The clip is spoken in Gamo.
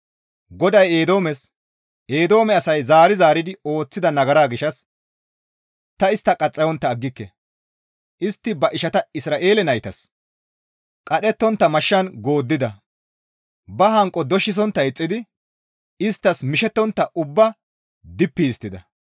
GODAY Eedoomes, «Eedoome asay zaari zaaridi ooththida nagara gishshas ta istta qaxxayontta aggike; istti ba ishata Isra7eele naytas qadhettontta mashshan gooddida; ba hanqo doshisontta eexxidi isttas mishettontta ubbaa dippi histtida.